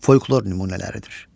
folklor nümunələridir.